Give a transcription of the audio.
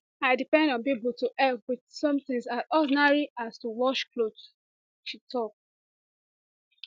i depend on pipo to help wit something as ordinary as to wash wash clothes she tok